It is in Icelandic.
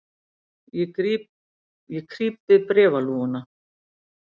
Ég krýp við bréfalúguna.